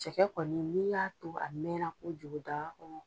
Cɛkɛ kɔni n'i y'a to a mɛn kojugu daga kɔnɔ.